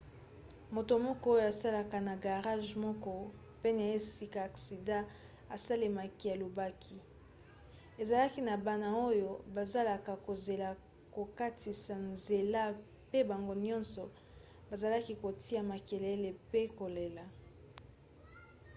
moto moko oyo asalaka na garage moko pene ya esika aksida esalemaki alobaki: ezalaki na bana oyo bazalaki kozela kokatisa nzela pe bango nyonso bazalaki kotia makelele pe kolela.